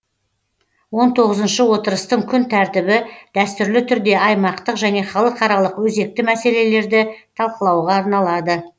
он тоғызыншы отырыстың күн тәртібі дәстүрлі түрде аймақтық және халықаралық өзекті мәселелерді талқылауға арналады